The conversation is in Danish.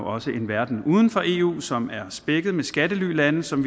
også en verden uden for eu som er spækket med skattelylande som